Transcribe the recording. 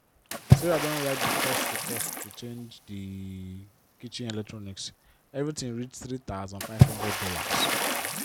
sarah don write di cost to cost to change di kitchen electronics everything reach $3500.